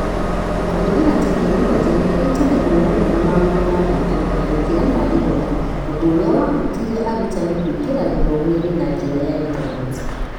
Kũhũthĩra tekinoronjĩ nĩ kũhutanagio mũno na maũndũ ma gwĩkenia gũkĩra ma gĩthomo, ũndũ ũrĩa wahutirie arutani kũingĩra gĩthomo-inĩ na njĩra ya intaneti.